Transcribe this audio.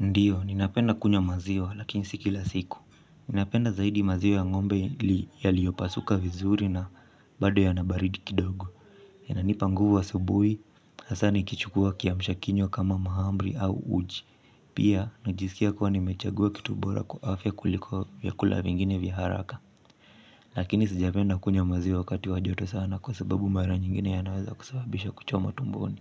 Ndio, ninapenda kunywa maziwa lakini si kila siku. Ninapenda zaidi maziwa ya ng'ombe yaliyopasuka vizuri na bado yana baridi kidogo. Yananipa nguvu asubuhi, hasa nikichukua kiamsha kinywa kama mahamri au uji. Pia, najisikia kuwa nimechagua kitu bora kwa afya kuliko vyakula vingine vya haraka. Lakini sijapenda kunywa maziwa wakati wa joto sana kwa sababu mara nyingine yanaweza kusababisha kuchomwa tumboni.